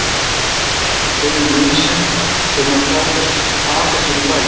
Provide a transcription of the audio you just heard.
Þá hafði hann beðið vin sinn um að aka sér í bæinn.